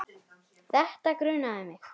Þetta grunaði mig.